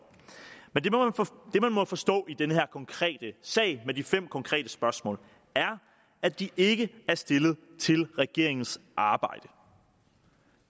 men det man må forstå i den her konkrete sag med de fem konkrete spørgsmål er at de ikke er stillet til regeringens arbejde